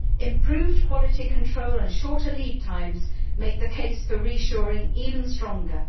Improved quality control and shorter lead times make the case for reshoring even stronger.